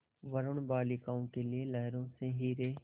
वरूण बालिकाओं के लिए लहरों से हीरे